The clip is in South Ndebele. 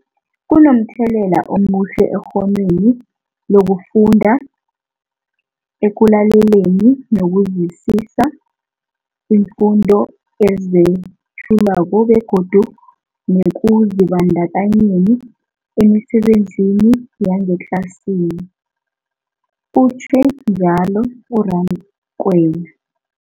Kunomthelela omuhle ekghonweni lokufunda, ekulaleleni nokuzwisiswa iimfundo ezethulwako begodu nekuzibandakanyeni emisebenzini yangetlasini, utjhwe njalo u-Rakwena.